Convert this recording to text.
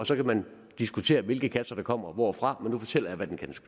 så kan man diskutere hvilke kasser der kommer hvorfra men nu fortæller jeg hvad de